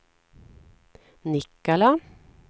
Nikkala